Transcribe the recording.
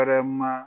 Yɛrɛma